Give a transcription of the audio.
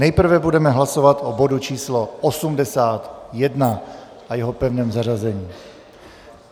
Nejprve budeme hlasovat o bodu č. 81 a jeho pevném zařazení.